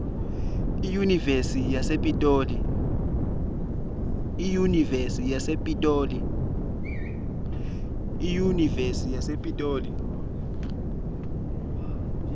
iyunivesi yasepitoli